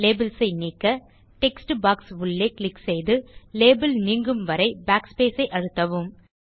labels ஐ நீக்க text box உள்ளே க்ளிக் செய்து லேபல் நீங்கும்வரை backspace ஐ அழுத்தவும்